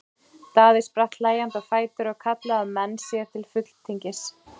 Daði spratt hlæjandi á fætur og kallaði á menn sér til fulltingis.